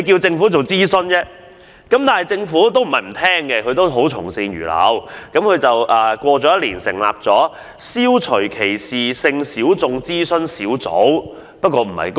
政府並非沒有聆聽，之後亦從善如流，在一年後成立了消除歧視性小眾諮詢小組。